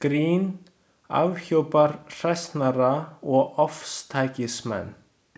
Grín afhjúpar hræsnara og ofstækismenn.